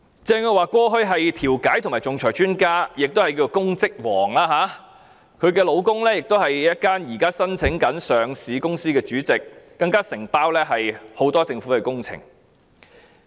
鄭若驊過去是調解和仲裁專家，亦是"公職王"，她的丈夫是一間上市公司的主席，承接很多政府工程。